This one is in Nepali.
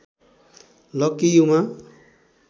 लकी युमा